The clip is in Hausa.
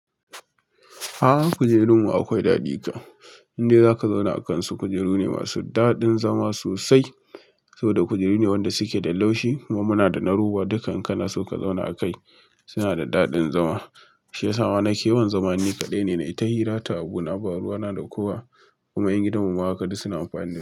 A'a kujerunmu akwai dadi ka. Inde zaka zauna a kansu kujeru ne masu daɗin zama sosai saboda kujeru ne wanda suke da laushi kuma muna da na ruwa dukan kanasu ka zauna a kai suna da daɗin zama. Shi ya sa ma nake yawon zama nikaɗai ne na yi ta hira ta abuna baruwa na da kowa kuma 'yan gidan mu ma haka duk suna amfani.